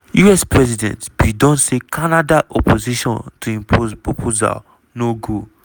us president bin don say canada opposition to im proposal no go